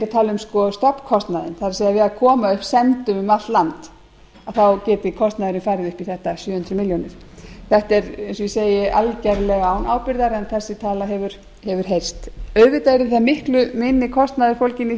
tala um stofnkostnaðinn það er við að koma upp sendum um allt land þá geti kostnaðurinn farið upp í þetta sjö hundruð milljónir þetta er eins og ég segi algerlega án ábyrgðar en þessi tala hefur heyrst auðvitað er miklu minni kostnaður fólginn